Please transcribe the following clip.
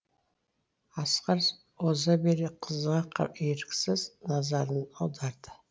асқар оза бере қызға еріксіз назарын аударды